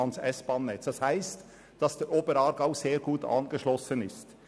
Deshalb ist es auch wichtig, dass der Oberaargau ans S-Bahn-Netz angeschlossen wird.